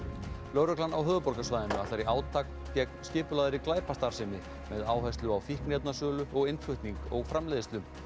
lögreglan á höfuðborgarsvæðinu ætlar í átak gegn skipulagðri glæpastarfsemi með áherslu á fíkniefnasölu innflutning og framleiðslu